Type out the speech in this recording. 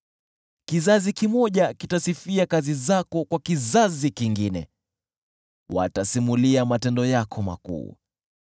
Kizazi kimoja kitasifia kazi zako kwa kizazi kingine, watasimulia matendo yako makuu.